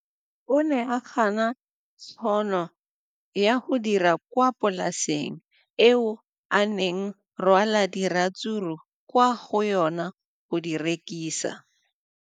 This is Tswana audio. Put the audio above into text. O ne a gana tšhono ya go dira kwa polaseng eo a neng rwala diratsuru kwa go yona go di rekisa.